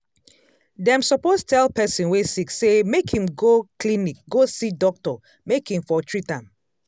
dem suppose tell person wey sick say make im go clinic go see doctor make im for treat am